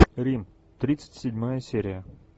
рим тридцать седьмая серия